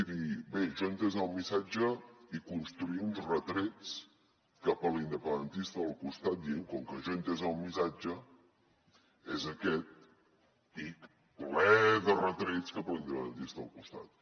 i dir bé jo he entès el missatge i construir uns retrets cap a l’independentista del costat dient com que jo he entès el missatge és aquest i ple de retrets cap a l’independentista del costat